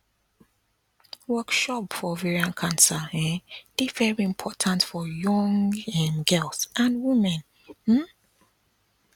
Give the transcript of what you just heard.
workshop for ovarian cancer um dey very important for young um girls and women um